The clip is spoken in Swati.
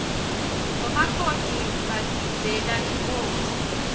bomakoti bagidzeela inkhosi